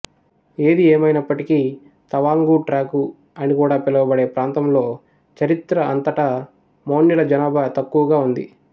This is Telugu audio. ఏది ఏమయినప్పటికీ తవాంగు ట్రాక్టు అని కూడా పిలువబడే ప్రాంతంలో చరిత్ర అంతటా మోన్యుల జనాభా తక్కువగా ఉంది